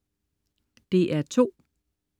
DR2: